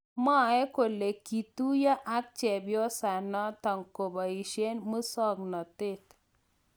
Mwae kole kituiyo ak chepyosanatak kobaishee musoknoteet.